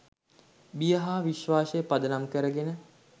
බිය හා විශ්වාසය පදනම් කරගෙන